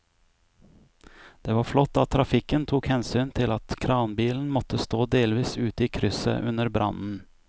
Det var flott at trafikken tok hensyn til at kranbilen måtte stå delvis ute i krysset under brannen.